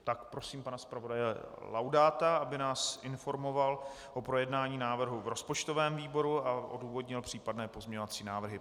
Tak prosím pana zpravodaje Laudáta, aby nás informoval o projednání návrhu v rozpočtovém výboru a odůvodnil případné pozměňovací návrhy.